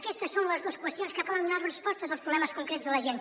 aquestes són les dues qüestions que poden donar nos respostes als problemes concrets de la gent